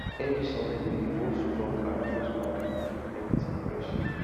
every sunday we dey wash drum and hosepipe to keep everything fresh